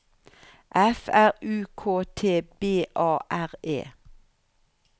F R U K T B A R E